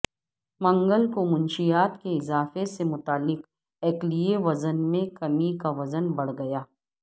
منگل کو منشیات کے اضافے سے متعلق ایکلیے وزن میں کمی کا وزن بڑھ گیا